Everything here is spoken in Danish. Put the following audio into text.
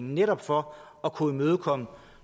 netop for at kunne imødekomme